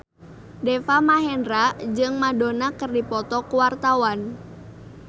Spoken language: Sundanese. Deva Mahendra jeung Madonna keur dipoto ku wartawan